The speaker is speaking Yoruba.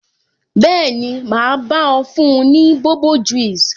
Bẹẹni, ma bá ọ fún ní bobo juice